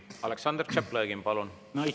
Aleksandr Tšaplõgin, palun!